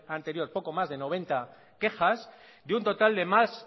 anterior poco más de noventa quejas de un total de más